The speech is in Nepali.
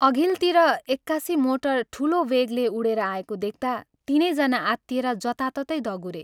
अघिल्तिर एक्कासि मोटर ठूलो वेगले उडेर आएको देख्ता तीनै जना आत्तिएर जताततै दगुरे